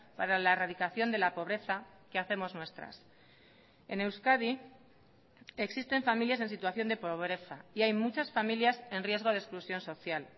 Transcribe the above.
para la erradicación de la pobreza que hacemos nuestras en euskadi existen familias en situación de pobreza y hay muchas familias en riesgo de exclusión social